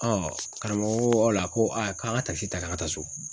Ɔ karamɔgɔ ko o la ko aa k'an ga takisi ta k'an ga taa so